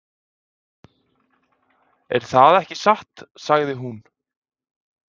"""Það er ekki satt, sagði hún."""